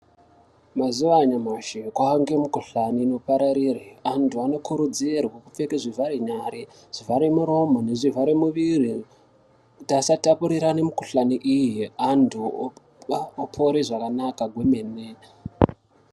Mazuva anyamashi kwange mu kuhlani ino pararire antu ano kurudzirwe kupfeke zvivhare nyare zvivhare muromo nezvi vhare mu muviri kuti asa tapurirane mu kuhlani iyi antu opere zvakanaka kwemene.